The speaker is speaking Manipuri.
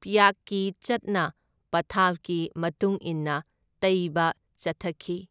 ꯄ꯭ꯌꯥꯛꯀꯤ ꯆꯠꯅ ꯄꯊꯥꯞꯀꯤ ꯃꯇꯨꯡ ꯏꯟꯅ ꯇꯩꯕ ꯆꯠꯊꯈꯤ꯫